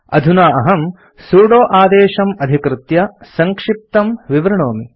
अधुना अहम् सुदो आदेशम् अधिकृत्य सङ्क्षिप्तं विवृणोमि